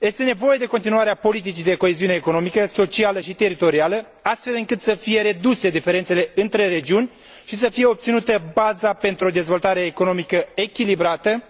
Este nevoie de continuarea politicii de coeziune economică, socială și teritorială, astfel încât să fie reduse diferențele între regiuni și să fie obținută baza pentru o dezvoltare economică echilibrată,